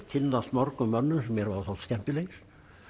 kynnast mörgum mönnum sem mér hafa þótt skemmtilegir